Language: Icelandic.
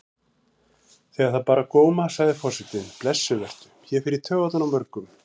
Þegar það bar á góma sagði forsetinn: Blessuð vertu, ég fer í taugarnar á mörgum.